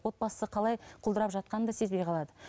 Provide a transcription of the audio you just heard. отбасы қалай құлдырап жатқанын да сезбей қалады